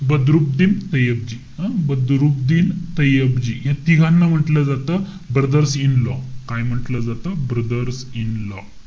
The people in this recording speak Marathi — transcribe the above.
बदरुबद्दीन तय्यबजी, हं? बदरुबद्दीन तय्यबजी. या तिघांना म्हंटल जातं, brothers in law. काय म्हंटल जंता? brothers in law.